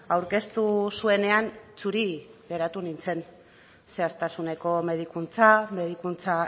aurkeztu zuenean zuri geratu nintzen zehaztasuneko medikuntza medikuntza